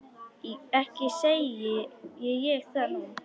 Ekki segi ég það nú.